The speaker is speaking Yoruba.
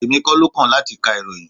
Èmi kọ́ ló kàn láti ka ìròyìn.